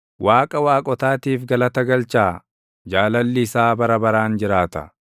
Waaqa waaqotaatiif galata galchaa. Jaalalli isaa bara baraan jiraata.